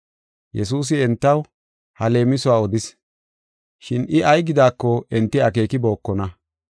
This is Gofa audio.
Yesuusi entaw ha leemisuwa odis, shin I ay gidaako enti akeekibokona.